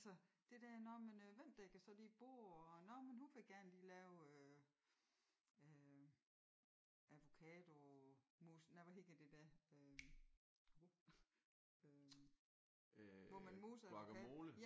Altså det der nå men øh hvem dækker så lige bord og nå men hun vil gerne lige lave øh øh avocadomousse nej hvad hedder det der øh øh hvor man moser en avocado?